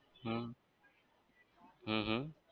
હમ અમ અમ